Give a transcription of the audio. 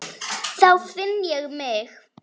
Þá finn ég mig.